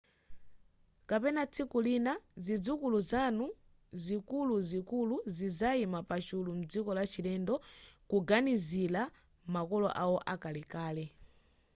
kapena tsiku lina zidzukulu zanu zikuluzikulu zidzayima pachulu mdziko lachilendo kuganizira makolo awo akalekale